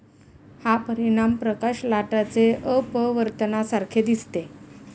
हा परिणाम प्रकाश लाटाचे अपवर्तनासारखे दिसते.